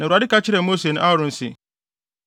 Na Awurade ka kyerɛɛ Mose ne Aaron se,